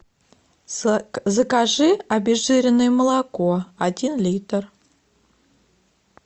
закажи обезжиренное молоко один литр